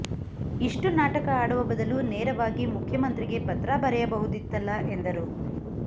ಇಷ್ಟು ನಾಟಕ ಆಡುವ ಬದಲು ನೇರವಾಗಿ ಮುಖ್ಯಮಂತ್ರಿಗೆ ಪತ್ರ ಬರೆಯಬಹುದಿತ್ತಲ್ಲ ಎಂದರು